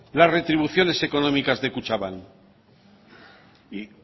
la retribuciones económicas de kutxabank